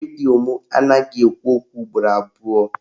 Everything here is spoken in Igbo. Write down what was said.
Redio mụ anaghị ekwu okwu ugboro abụọ